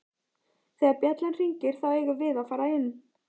Þegar bjallan hringir þá eigum við að fara inn